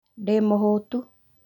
Ndĩ mũhũtu